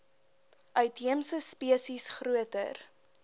uitheemse spesies groter